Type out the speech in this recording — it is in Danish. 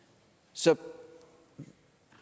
så